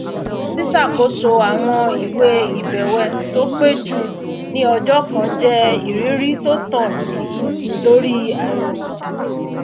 ṣíṣàkóso àwọn ìwé ìbẹwẹ tó pé jù ní ọjọ kan jẹ ìrírí tó tàn mí lórí àìròkan